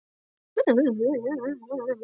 Og Gerður grípur þetta góða boð gamals vinar.